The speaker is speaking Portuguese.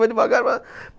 Vai devagar. Vá